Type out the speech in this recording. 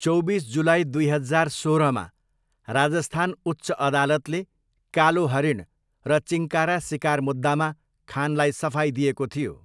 चौबिस जुलाई दुई हजार सोह्रमा राजस्थान उच्च अदालतले कालो हरिण र चिङ्कारा सिकार मुद्दामा खानलाई सफाइ दिएको थियो।